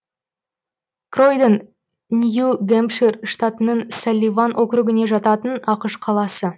кройдон нью гэмпшир штатының салливан округіне жататын ақш қаласы